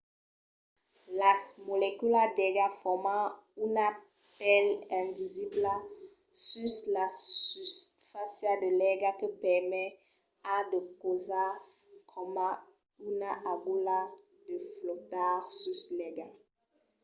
las moleculas d’aiga forman una pèl invisibla sus la susfàcia de l’aiga que permet a de causas coma una agulha de flotar sus l’aiga